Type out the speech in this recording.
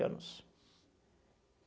anos.